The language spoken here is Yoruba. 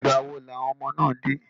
Ìgbà wo ni àwọn ọmọ náà dé?